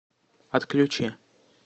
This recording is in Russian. отключи